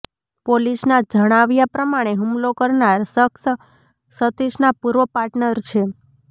પોલિસના જણાવ્યાં પ્રમાણે હુમલો કરનાર શખ્સ સતીષના પૂર્વ પાર્ટનર છે